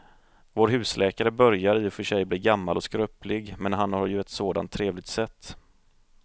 Vår husläkare börjar i och för sig bli gammal och skröplig, men han har ju ett sådant trevligt sätt!